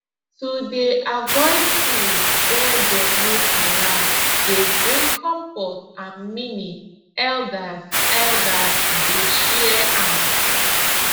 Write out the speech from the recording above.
to dey avoid food wey dem no allow dey bring comfort and meaning elders elders dey share am